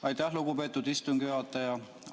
Aitäh, lugupeetud istungi juhataja!